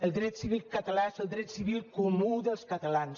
el dret civil català és el dret civil comú dels catalans